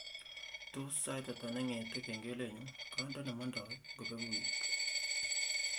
Tos sait ata nengete kengelenyu kandene nemondoi ngobeku weekit